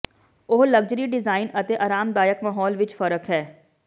ਉਹ luxury design ਅਤੇ ਆਰਾਮਦਾਇਕ ਮਾਹੌਲ ਵਿਚ ਫ਼ਰਕ ਹੈ